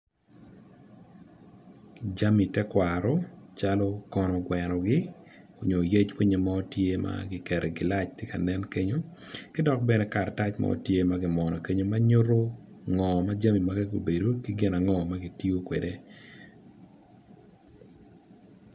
Jami tekwaro calo kono gwenogi nyo yec winyo mo ma kiketo i gilac tye kanen kenyo ki dok bene karatac mo tye ma kimwono kenyo ma nyuto ngo ma jami magi gubedo ki gin ango ma gitiyo kwede.